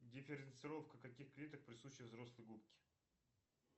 дифференцировка каких клеток присуща взрослой губке